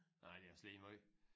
Nej det også lige meget